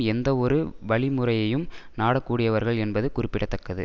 எந்தவொரு வழிமுறையையும் நாடக்கூடியவர்கள் என்பது குறிப்பிட தக்கது